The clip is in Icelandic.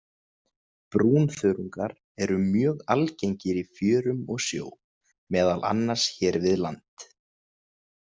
Brúnþörungar eru mjög algengir í fjörum og sjó, meðal annars hér við land.